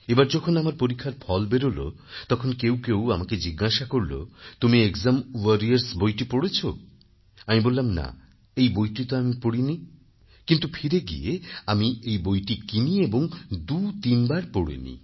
এবার যখন আমার পরীক্ষার ফল বেরোলো তখন কেউ কেউ আমাকে জিজ্ঞাসা করল তুমি একজাম ওয়ারিয়রস বইটি পড়েছ আমি বললামনা এই বইটি তো আমি পড়িনি কিন্তু ফিরে গিয়ে আমি এই বইটি কিনি এবং দুতিনবার পড়ে নিই